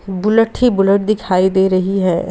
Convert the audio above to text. Bullet ही bullet दिखाई दे रही है।